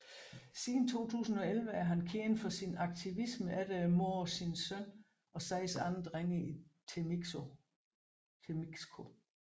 Siden 2011 er han kendt for sin aktivisme efter mordet på sin søn og seks andre drenge i Temixco